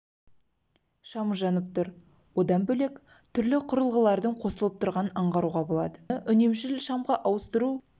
шамы жанып тұр одан бөлек түрлі құрылғылардың қосылып тұрғанын аңғаруға болады оны үнемшіл шамға ауыстыру